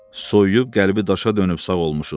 Soyuyub, qəlbi daşa dönüb sağ olmuşun.